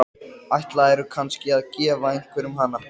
Ætlarðu kannski að gefa einhverjum hana?